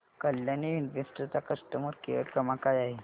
Kalyani invest चा customer care क्रमांक काय आहे